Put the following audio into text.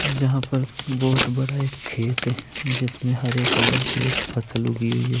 जहाँ पर बहुत बड़ा एक खेत है जिसमें हरे कलर की एक फसल उगी हुई है।